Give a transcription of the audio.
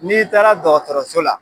N'i taara dɔgɔtɔrɔso la